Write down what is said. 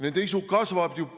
Nende isu kasvab.